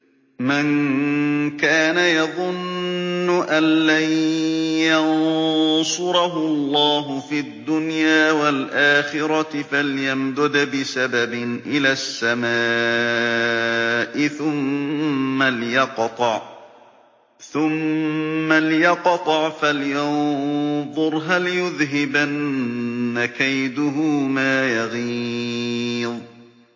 مَن كَانَ يَظُنُّ أَن لَّن يَنصُرَهُ اللَّهُ فِي الدُّنْيَا وَالْآخِرَةِ فَلْيَمْدُدْ بِسَبَبٍ إِلَى السَّمَاءِ ثُمَّ لْيَقْطَعْ فَلْيَنظُرْ هَلْ يُذْهِبَنَّ كَيْدُهُ مَا يَغِيظُ